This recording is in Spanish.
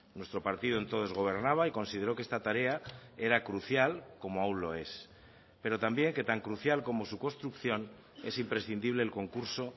nuestro partido entonces gobernaba y consideró que esta tarea era crucial como aún lo es pero también que tan crucial como su construcción es imprescindible el concurso